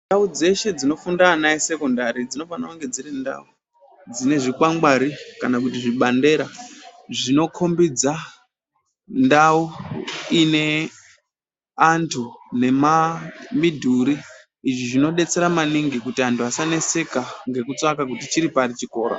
Ndau dzeshe dzinofunda ana esekondari dzinofanirwe kunge dziri ndau dzine zvikwangwari kana zvibandera zvinokombidza ndau ine antu nemamidhuri izvi zvinodetsera maningi kuti antu asaneseka ngekutsvaka kuti chiri pari chikora .